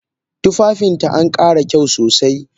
Tufafinta ankara kyau sosai